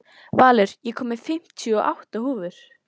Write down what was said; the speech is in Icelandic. Valur, ég kom með fimmtíu og átta húfur!